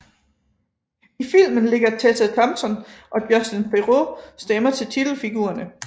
I filmen lægger Tessa Thompson og Justin Theroux stemmer til titelfigurerne